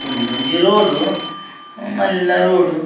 ಉಂದೊಂಜಿ ರೋಡ್ ಮಲ್ಲ ರೋಡ್ .